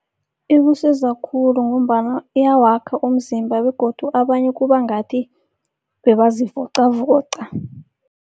Ikusiza khulu ngombana iyawakha umzimba begodu abanye kuba ngathi bebazivocavoca.